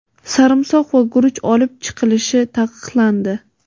sarimsoq va guruch olib chiqilishi taqiqlandi.